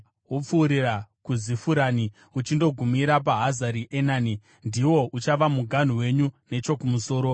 wopfuurira kuZifurani uchindogumira paHazari Enani. Ndiwo uchava muganhu wenyu nechokumusoro.